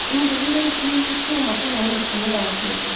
Ümid eləyirəm ki, heç olmasa mənim haqqımda danışmayacaqsız.